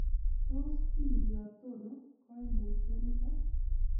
Tos kindiotono koimutioniton?